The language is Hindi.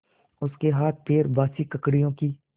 उसके हाथपैर बासी ककड़ियों की